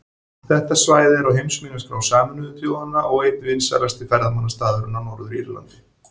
Þetta svæði er á heimsminjaskrá Sameinuðu þjóðanna og einn vinsælasti ferðamannastaðurinn á Norður-Írlandi.